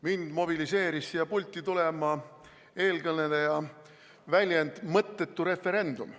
Mind mobiliseeris siia pulti tulema eelkõneleja väljend "mõttetu referendum.